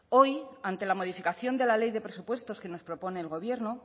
hoy ante la modificación de la ley de presupuestos que nos propone el gobierno